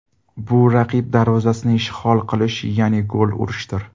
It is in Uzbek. Bu raqib darvozasini ishg‘ol qilish, ya’ni gol urishdir.